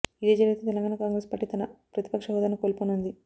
ఇదే జరిగితే తెలంగాణ కాంగ్రెస్ పార్టీ తన ప్రతిపక్ష హోదాను కోల్పోనుంది